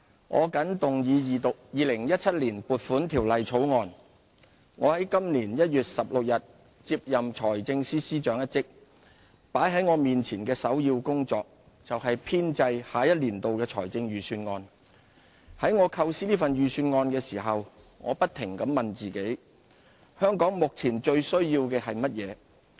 我謹動議二讀《2017年撥款條例草案》。我在今年1月16日接任財政司司長一職，擺在我面前的首要工作，就是編製下一年度的財政預算案。在我構思這份預算案的時候，我不停的問自己：香港目前最需要的是甚麼？